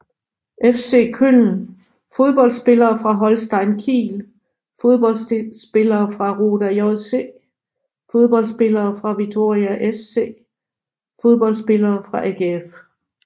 FC Köln Fodboldspillere fra Holstein Kiel Fodboldspillere fra Roda JC Fodboldspillere fra Vitória SC Fodboldspillere fra AGF